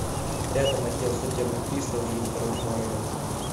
рядом отдел судебных приставов железнодорожного района